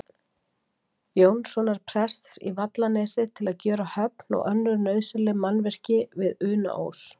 Jónssonar prests í Vallanesi, til að gjöra höfn og önnur nauðsynleg mannvirki við Unaós.